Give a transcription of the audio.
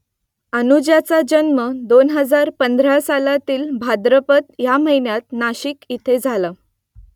अनुजाचा जन्म दोन हजार पंधरा सालातील भाद्रपद या महिन्यात नाशिक इथे झाला